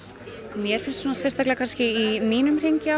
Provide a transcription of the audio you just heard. mér finnst það í mínum hring já